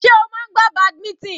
Sé o máa ń gbá badminton?